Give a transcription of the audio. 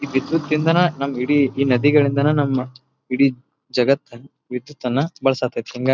ಈ ವಿದ್ಯುತ್ ಇಂದಾನೆ ನಮ್ಮ ಇಡೀ ಈ ನದಿಗಳಿಂದಾನೆ ನಮ್ಮ ಇಡೀ ಜಗತ್ತನ್ನ ವಿದ್ಯುತ್ತನ್ನ ಬಳಸ ಹತೈತಿ ಹಾಂಗಾಗಿ--